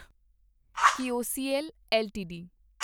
ਕਿਓਸੀਐਲ LTD